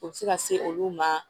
O bɛ se ka se olu ma